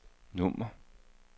nummer